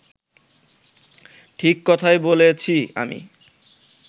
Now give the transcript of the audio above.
ঠিক কথাই বলেছি আমি